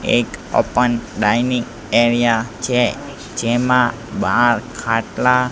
એક open dining area છે જેમાં બાર ખાટલા--